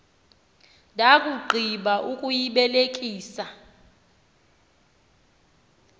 ndakugqi ba ukuyibelekisa